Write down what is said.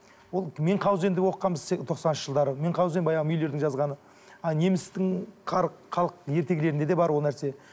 ол менқаузенді оқығанбыз тоқсаныншы жалдары менқаузин баяғы мюллердің жазғаны немістің халық ертегілерінде де бар ол нәрсе